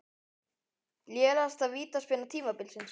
Lélegasta vítaspyrna tímabilsins?